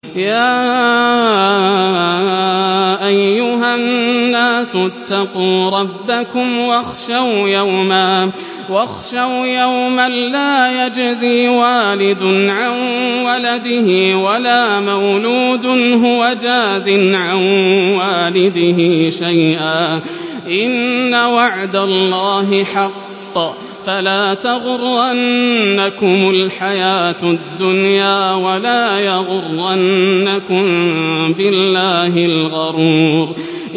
يَا أَيُّهَا النَّاسُ اتَّقُوا رَبَّكُمْ وَاخْشَوْا يَوْمًا لَّا يَجْزِي وَالِدٌ عَن وَلَدِهِ وَلَا مَوْلُودٌ هُوَ جَازٍ عَن وَالِدِهِ شَيْئًا ۚ إِنَّ وَعْدَ اللَّهِ حَقٌّ ۖ فَلَا تَغُرَّنَّكُمُ الْحَيَاةُ الدُّنْيَا وَلَا يَغُرَّنَّكُم بِاللَّهِ الْغَرُورُ